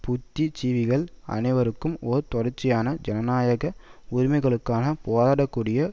புத்திஜீவிகள் அனைவரும் ஓர் தொடர்ச்சியான ஜனநாயக உரிமைகளுக்காக போராடக்கூடிய